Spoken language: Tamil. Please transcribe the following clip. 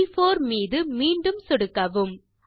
ப்4 மீது மீண்டும் சொடுக்கவும்